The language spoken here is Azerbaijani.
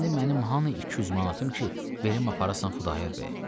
İndi mənim hanı 200 manatım ki, verim aparasan Xudayar bəyə?